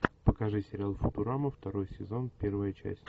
покажи сериал футурама второй сезон первая часть